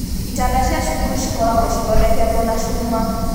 Itanda cia cukuru cikoragwo cithondeketwo na cuma.